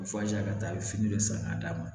ka taa fini dɔ sen ka d'a ma